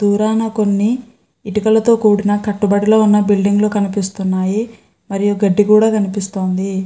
దూరాన కొన్ని ఇటుకలతో కూడిన కట్టుబడిలో ఉన్న బిల్డింగ్ లు కనిపిస్తున్నాయి. మరియు గడ్డి కూడా కనిపిస్తోంది.